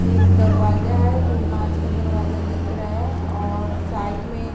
एक दरवाज़ा है जो काँच का दरवाज़ा दिख रहा है और साइड में--